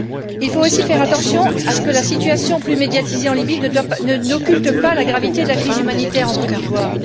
Il faut aussi faire attention à ce que la situation plus médiatisée en Libye n'occulte pas la gravité de la crise humanitaire en Côte d'Ivoire.